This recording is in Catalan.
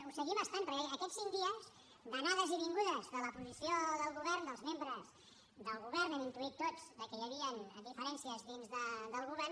ho seguim estant perquè aquests cinc dies d’anades i vingudes de la posició del govern dels membres del govern hem intuït tots de que hi havien diferències dins del govern